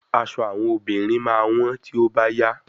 Aṣọ àwọn obìnrin máa wọ́n tí ó bá yá.